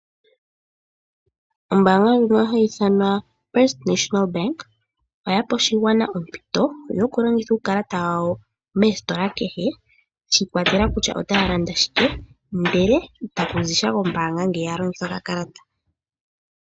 Ombaanga ndjika hayi ithanwa First National Bank oya pe oshigwana ompito yokulongitha uukalata wawo moostila adhihe shi ikwatelela kutya otaya landa shike, ihe itaku zi sha kombaanga ngele taya longitha okakalta.